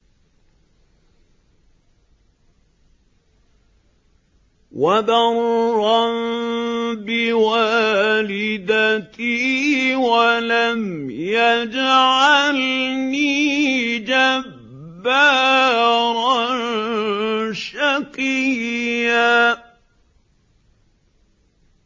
وَبَرًّا بِوَالِدَتِي وَلَمْ يَجْعَلْنِي جَبَّارًا شَقِيًّا